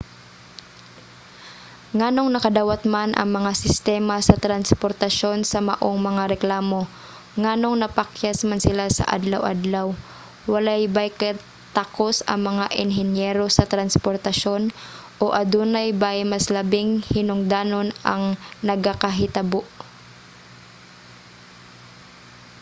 nganong nakadawat man ang mga sistema sa transportasyon sa maong mga reklamo nganong napakyas man sila sa adlaw-adlaw? walay bay katakos ang mga enhinyero sa transportasyon? o adunay bay mas labing hinungdanon ang nagakahitabo?